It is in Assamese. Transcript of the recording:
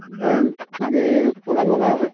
মানে হেৰি four lane বনাই আছে ।